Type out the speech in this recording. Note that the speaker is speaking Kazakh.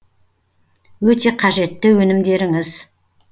өте қажетті өнімдеріңіз